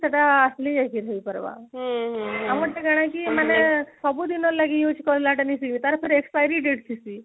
ସେଇଟା actually ଏଇଠି ନ ହେଇପାରିବାର ଆମ ଟା କଣ କି ମାନେ ସବୁଦିନ ଲାଗି use କରିବାକ୍ଷଣି ତାର ପୁଣି expiry date ଅଛି